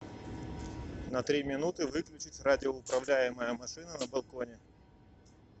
на три минуты выключить радиоуправляемая машина на балконе